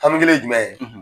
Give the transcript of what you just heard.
Hami kelen ye jumɛn ye